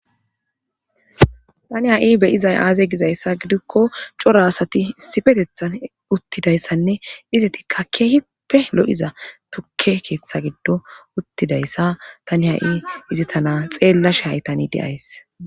Tani ha7i beyizay aaze gizayssa gidikko cora asati isifetethan uttidayssanne ize tikka keehipe lo7iza tukke keeththa giddo uttidayssa tani ha7i izi tana xeellashehay tani deays